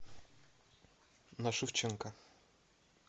на шевченко